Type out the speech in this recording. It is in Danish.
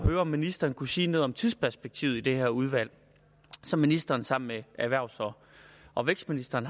en om ministeren kunne sige noget om tidsperspektivet i det her udvalg som ministeren sammen med erhvervs og vækstministeren